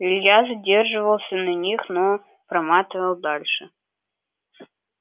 илья задерживался на них но проматывал дальше